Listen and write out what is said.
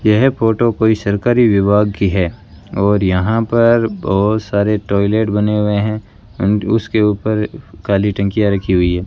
यह फोटो कोई सरकारी विभाग की है और यहां पर बहुत सारे टॉयलेट बने हुए हैं एंड उसके ऊपर काली टंकियां रखी हुई है।